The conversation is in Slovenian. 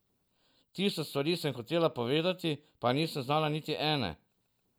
Tisoč stvari sem hotela povedati, pa nisem znala niti ene.